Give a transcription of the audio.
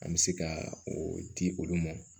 An bɛ se ka o di olu ma